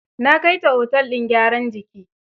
Na kai ta otel din gyaran jiki.